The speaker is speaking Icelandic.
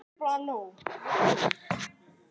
Líður með hann fram í stofuna.